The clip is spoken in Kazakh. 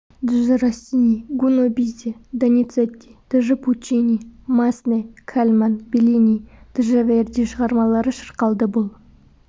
дж россини гуно бизе доницетти дж пуччини массне кальман беллини дж верди шығармалары шырқалды бұл